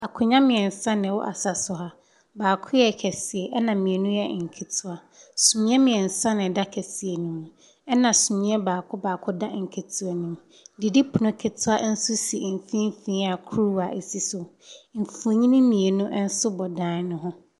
Akonnwa mmeɛnsa na ɛwɔ asa so ha. Baako yɛ kɛseɛ, ɛna mmienu yɛ nketewa. Sumiiɛ mmeɛnsa na ɛda kɛseɛ no mu, ɛna sumiiɛ baako da nketewa no mu. Didipono ketewa nso si mfimfini a kuruwa si so. Mfonin mmienu nso bɔ dan no hi.